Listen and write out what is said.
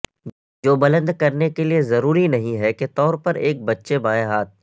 جو بلند کرنے کے لئے ضروری نہیں ہے کے طور پر ایک بچے بائیں ہاتھ